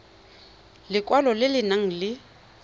lekwalo le le nang le